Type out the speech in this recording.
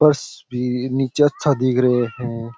फर्श भी नीचे अच्छा दिख रहे है।